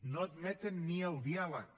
no admeten ni el diàleg